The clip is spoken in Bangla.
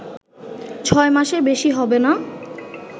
ছয় মাসের বেশি হবে না